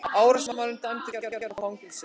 Árásarmaður dæmdur í tveggja ára fangelsi